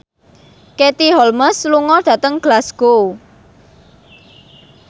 Katie Holmes lunga dhateng Glasgow